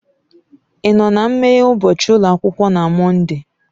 Ị nọ na nmeghe ụbọchị ụlọ akwụkwọ na Mọnde?